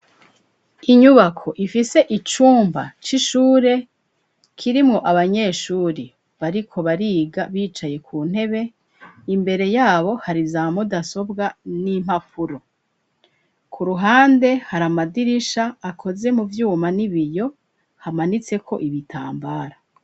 Inyubako ifise icumba c'ishure kirimwo abanyeshuri bariko bariga bicaye ku ntebe imbere yabo hari ya mudasobwa n'impapuro ku ruhande hari amadirisha akoze mu vyuma n'ibiyo hamanitseko ibitambara.